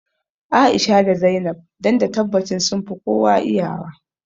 A'isha da Zainab don da tabbacin sunfi kowa iya wa